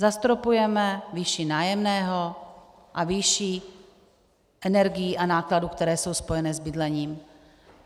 Zastropujeme výši nájemného a výši energií a nákladů, které jsou spojeny s bydlením.